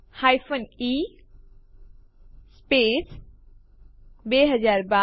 તેથી ચાલો જોઈએ એમવી કેવી રીતે વાપરી શકાય